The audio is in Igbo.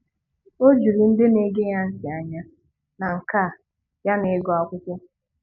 O juru ndị na-ege ya ntị anya na nka ya n'ịgụ akwụkwọ.